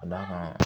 Ka d'a kan